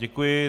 Děkuji.